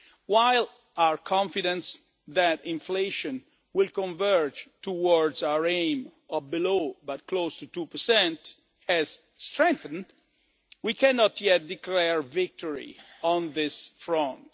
While our confidence that inflation will converge towards our aim of below, but close to, 2 has strengthened, we cannot yet declare victory on this front.